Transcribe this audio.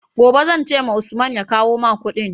Gobe zan ce wa Usman ya kawo ma Ƙudin?